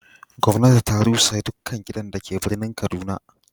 gwamnati ta rusa dukkan gidan da ke birnin kaduna.